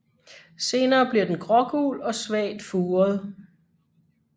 Senere bliver den grågul og svagt furet